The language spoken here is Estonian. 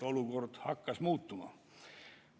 Olukord hakkas muutuma.